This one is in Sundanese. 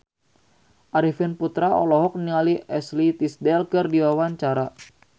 Arifin Putra olohok ningali Ashley Tisdale keur diwawancara